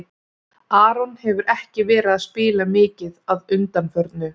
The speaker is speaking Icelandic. Aron hefur ekki verið að spila mikið að undanförnu.